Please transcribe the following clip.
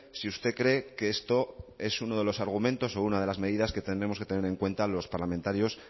si usted cree que esto es uno de los argumentos o una de las medidas que tendremos que tener en cuenta los parlamentarios